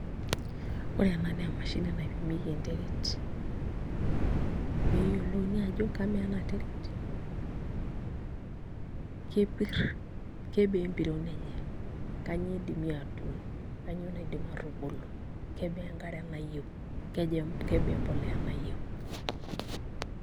Ore ena naa emashini naipimieki enterit pee eyiolouni ajo kamaa ena terit kepirr kebaa empiron enye, kainyioo idimi aatuun kainyioo idimi aatuun kebaa enkare nayieu kebaa embolea nayieu.